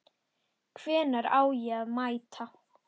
Hvenær á ég að mæta?